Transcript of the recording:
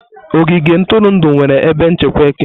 Ogige ntụrụndụ nwere ebe nchekwa eke.